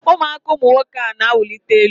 ụmụaka ụmụ nwoke a na-awụlika elu.